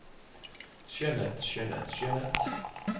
skjønnhet skjønnhet skjønnhet